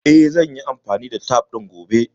Eh, zan yi amfani da tef ɗin gobe